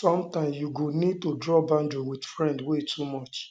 sometimes you go need go need to draw boundary with friends wey too much